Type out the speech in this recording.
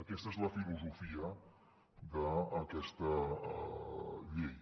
aquesta és la filosofia d’aquesta llei